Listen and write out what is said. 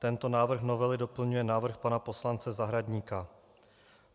Tento návrh novely doplňuje návrh pana poslance Zahradníka.